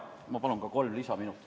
Ma palun igaks juhuks kolm lisaminutit.